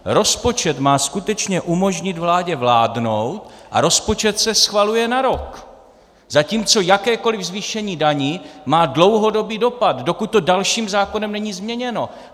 Rozpočet má skutečně umožnit vládě vládnout a rozpočet se schvaluje na rok, zatímco jakékoliv zvýšení daní má dlouhodobý dopad, dokud to dalším zákonem není změněno.